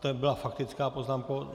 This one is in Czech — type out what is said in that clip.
To byla faktická poznámka?